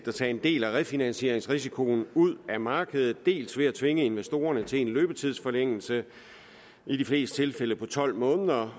at tage en del af refinansieringsrisikoen ud af markedet dels ved at tvinge investorerne til en løbetidsforlængelse i de fleste tilfælde på tolv måneder